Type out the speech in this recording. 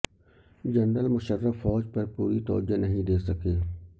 general Musharraf فوج پر پوری توجہ نہیں دے سکے